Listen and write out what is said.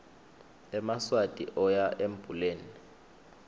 emaswati oya embuleni